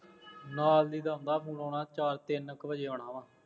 ਨਾਲ ਦੀ ਆਉਂਦਾ ਫੋਨ, ਉਹਨੇ ਚਾਰ ਤਿੰਨ ਕੁ ਵਜੇ ਆਉਣਾ ਵਾ